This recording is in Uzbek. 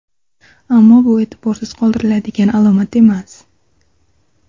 Ammo bu e’tiborsiz qoldiriladigan alomat emas.